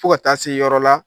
Fo ka taa se yɔrɔ la